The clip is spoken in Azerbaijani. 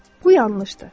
Bu yanlışdır.